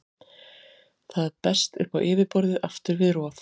Það berst upp á yfirborðið aftur við rof.